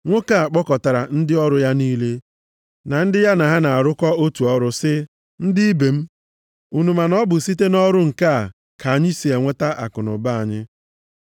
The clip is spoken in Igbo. Nwoke a kpọkọtara ndị ọrụ ya niile, na ndị ya na ha na-arụkọ otu ọrụ, sị, “Ndị ibe m, unu ma na ọ bụ site nʼọrụ nke a ka anyị si enweta akụnụba anyị.